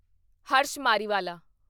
Harsh Mariwala